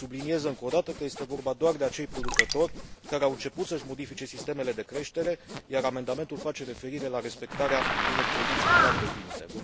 Subliniez, încă o dată, că este vorba doar de acei producători care au început să își modifice sistemele de creștere, iar amendamentul face referire la respectarea unor condiții clar definite.